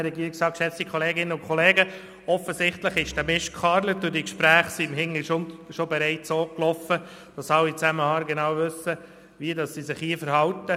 Der Mist ist offensichtlich geführt und die Gespräche sind hintenrum schon bereits so gelaufen, dass alle zusammen haargenau wissen, wie sie sich verhalten.